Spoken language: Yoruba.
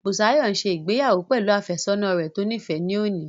Bùsáyọ̀ n ṣe ìgbéyàwó pẹ̀lú àfẹ́sọ́nà rẹ̀ tó níìfẹ́ ní òní